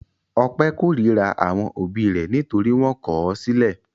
Ọpẹ́ korira àwọn òbí rẹ̀ nítorí wọ́n kọ̀ ọ́ sílẹ̀.